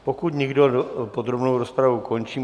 Pokud nikdo, podrobnou rozpravu končím.